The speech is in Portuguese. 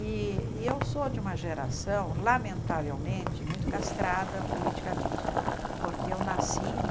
E e eu sou de uma geração, lamentavelmente, muito castrada politicamente, porque eu nasci em